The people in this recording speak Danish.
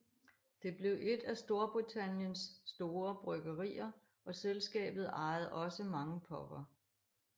Det blev et af Storbritanniens store bryggerier og selskabet ejede også mange puber